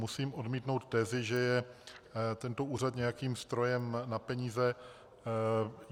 Musím odmítnout tezi, že je tento úřad nějakým strojem na peníze.